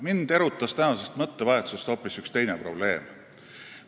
Mind erutas tänases mõttevahetuses hoopis üks teine probleem.